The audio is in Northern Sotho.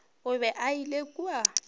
o be a ile kua